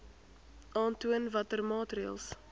aantoon watter maatreëls